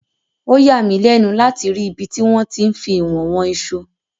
Ó yàmí lẹ́nu láti rí ibi tí wọ́n ti ń fí ìwọ̀n wọn iṣu.